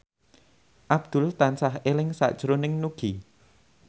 Abdul tansah eling sakjroning Nugie